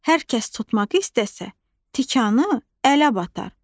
Hər kəs tutmaq istəsə, tikanı ələ batar.